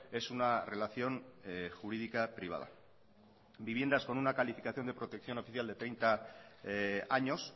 es una relación jurídica privada viviendas con una calificación de protección oficial de treinta años